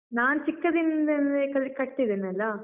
ನಾನ್ ಚಿಕ್ಕದಿಂದಲ್ಲೇ ಕಲಿ ಕಟ್ತಿದ್ದೇನಲ್ಲ?